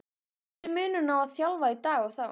Hver er munurinn á að þjálfa í dag og þá?